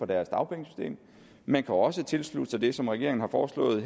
deres dagpengesystem man kan også tilslutte sig det som regeringen har foreslået i